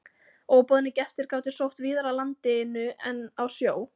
Óboðnir gestir gátu sótt víðar að landinu en á sjó.